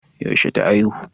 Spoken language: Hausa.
Yaushe ta aihu?